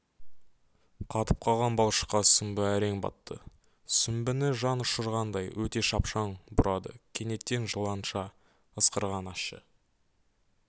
қатып қалған балшыққа сүмбі әрең батты сүмбіні жан ұшырғандай өте шапшаң бұрады кенеттен жыланша ысқырған ащы